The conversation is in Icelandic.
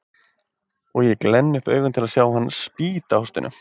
Og ég glenni upp augun til að sjá hann spýta hóstinu.